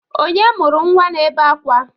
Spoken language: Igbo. Onye mụrụ nwa na-ebe akwa?